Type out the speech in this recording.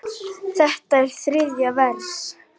Þetta er þriðja vers.